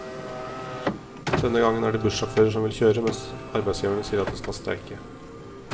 Denne gangen er det bussjåfører som vil kjøre, mens arbeidsgiverne sier at de skal streike.